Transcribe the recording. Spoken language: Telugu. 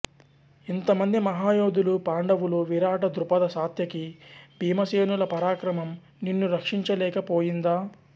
ఇంతమంది మహా యోధులు పాండవులు విరాట ద్రుపద సాత్యకి భీమసేనుల పరాక్రమం నిన్ను రక్షించ లేక పోయిందా